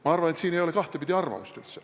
Ma arvan, et siin ei ole kahtepidi arvamust.